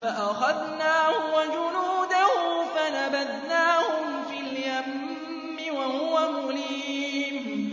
فَأَخَذْنَاهُ وَجُنُودَهُ فَنَبَذْنَاهُمْ فِي الْيَمِّ وَهُوَ مُلِيمٌ